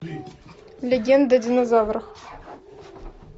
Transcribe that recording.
легенда о динозаврах